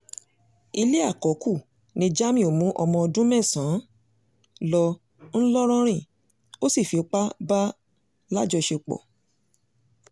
ilé àkọ́kù ní jamiu mú ọmọ ọdún mẹ́sàn-án lọ ńlọrọrìn ó sì fipá bá a láṣepọ̀